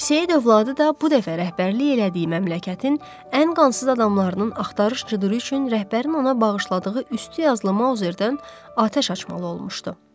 Seyid övladı da bu dəfə rəhbərlik elədiyi məmləkətin ən qansız adamlarının axtarış cıdıra üçün rəhbərin ona bağışladığı üstü yazılı mauzerdən atəş açmalı olmuşdu.